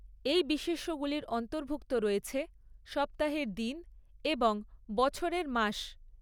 এই বিশেষ্যগুলির অন্তর্ভুক্ত রয়েছে সপ্তাহের দিন এবং বছরের মাস।